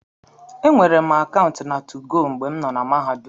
E nweere akaụntụ na 2go mgbe m nọ na Mahadum.